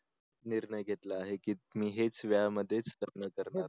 निर्णय घेतला आहे की मी हेच वयामध्येच लग्न करणार